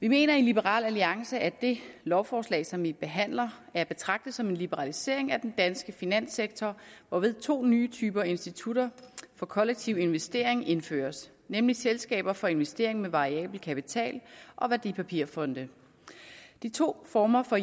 vi mener i liberal alliance at det lovforslag som vi behandler er at betragte som en liberalisering af den danske finanssektor hvorved to nye typer institutter for kollektiv investering indføres nemlig selskaber for investering med variabel kapital og værdipapirfonde de to former for